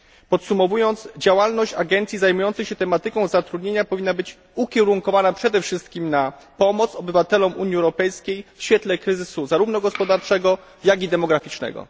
Podsumowując, działalność agencji zajmujących się tematyką zatrudnienia powinna być ukierunkowana przede wszystkim na pomoc obywatelom Unii Europejskiej w świetle kryzysu zarówno gospodarczego, jak i demograficznego.